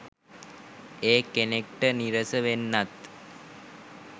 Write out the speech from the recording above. එය කෙනෙක්ට නිරස වෙන්නත්